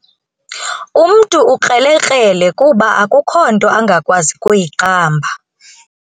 Umntu ukrelekrele kuba akukho nto angakwazi kuyiqamba.